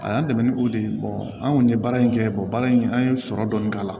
A y'an dɛmɛ ni o de ye an kɔni ye baara in kɛ baara in an ye sɔrɔ dɔɔni k'a la